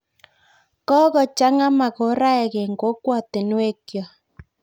Kokocha'ngaa makoraek en kokwatuniek kyok